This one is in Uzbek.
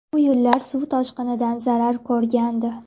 Bu yo‘llar suv toshqinidan zarar ko‘rgandi.